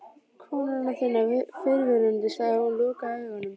Konunnar þinnar. fyrrverandi, sagði hún og lokaði augunum.